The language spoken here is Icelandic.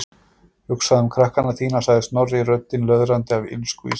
Hugsaðu um krakkana þína- sagði Snorri, röddin löðrandi af illsku í símanum.